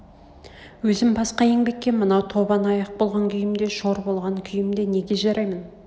өзім басқа еңбекке мынау тобан аяқ болған күймде шор болған күймде неге жараймын